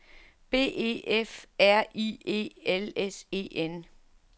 B E F R I E L S E N